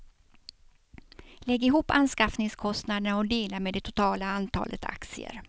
Lägg ihop anskaffningskostnaderna och dela med det totala antalet aktier.